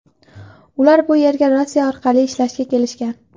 Ular bu yerga Rossiya orqali ishlashga kelishgan.